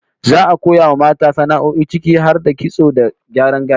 Za'a koya wa mata sana'o'i ciki har da kitso da gyaran gashi